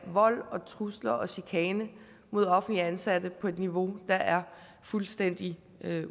vold og trusler og chikane mod offentligt ansatte på et niveau der er fuldstændig